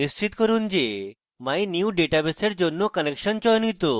নিশ্চিত করুন যে mynewdatabase এর জন্য connection চয়নিত